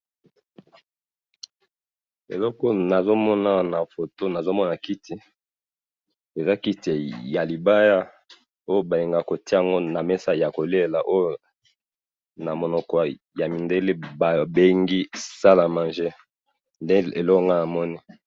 Eloko oyo nazo mona awa na photo ,nazo mona kiti eza kiti ya libaya ,oyo balingaka kotia yango na mesa ya kolela oyo na monoko ya mindele babengi salle a manger, nde eloko nga namoni